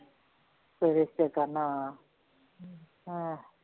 ਫੇਰ ਰਿਸ਼ਤੇ ਕਰਨ ਹਾਂ ਹਾਂ